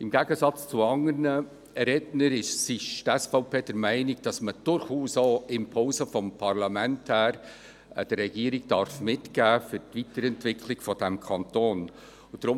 Im Gegensatz zu anderen Rednern ist die SVP der Meinung, dass man der Regierung durchaus auch Impulse des Parlaments für die Weiterentwicklung dieses Kantons mitgeben darf.